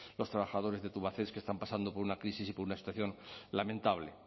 los trabajadores de tubacex que están pasando por una crisis y por una situación lamentable